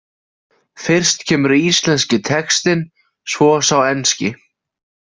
Fyrst kemur íslenski textinn, svo sá enski.